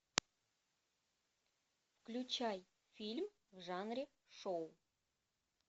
включай фильм в жанре шоу